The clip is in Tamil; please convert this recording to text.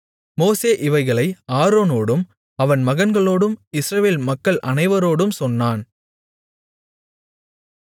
மோசே இவைகளை ஆரோனோடும் அவன் மகன்களோடும் இஸ்ரவேல் மக்கள் அனைவரோடும் சொன்னான்